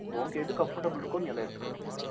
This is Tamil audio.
உனக்கு எது comfortable இருக்கோ நீ அத எடுத்துக்க வேண்டியது தான்